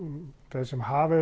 þeir sem hafa